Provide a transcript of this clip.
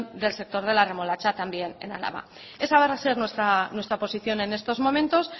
del sector de la remolacha en álava esa va a ser nuestra posición en estos momentos